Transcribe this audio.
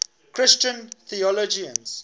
christian theologians